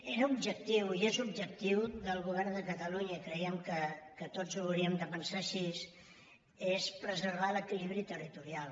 era objectiu i és objectiu del govern de catalunya i creiem que tots ho hauríem de pensar així preservar l’equilibri territorial